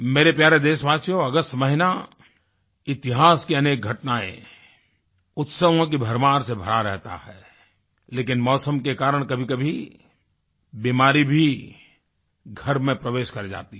मेरे प्यारे देशवासियो अगस्त महीना इतिहास की अनेक घटनाएँ उत्सवों की भरमार से भरा रहता है लेकिन मौसम के कारण कभीकभी बीमारी भी घर में प्रवेश कर जाती है